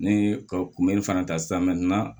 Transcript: Ne ye ka kunbɛli fana ta